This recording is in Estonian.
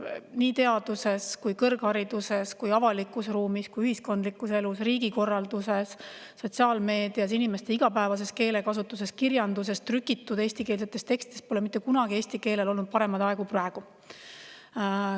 Nii teaduses kui kõrghariduses kui avalikus ruumis kui ühiskondlikus elus, riigikorralduses, sotsiaalmeedias, inimeste igapäevases keelekasutuses, kirjanduses ja trükitud eestikeelsetes tekstides pole mitte kunagi eesti keelel olnud paremaid aegu kui praegu.